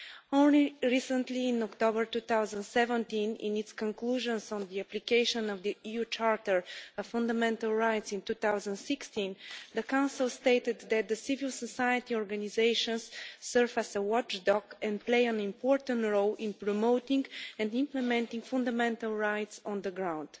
Only recently, in October 2017, in its conclusions on the application of the EU Charter of Fundamental Rights in 2016, the Council stated that civil society organisations serve as a watchdog and play an important role in promoting and implementing fundamental rights on the ground.